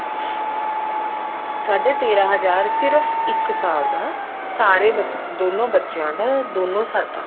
ਸਾਢੇ ਤੇਰਾਂ ਹਜ਼ਾਰ ਇੱਕ ਸਾਲ ਦਾ ਸਾਰੇ ਬੱਚੇ ਦੋਨੋ ਬੱਚਿਆਂ ਦਾ ਦੋਨੋ ਸਾਡਾ